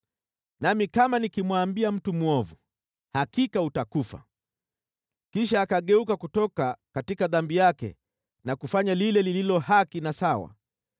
Nami kama nikimwambia mtu mwovu, ‘Hakika utakufa,’ kisha akageuka kutoka dhambi yake na kufanya lile lililo haki na sawa,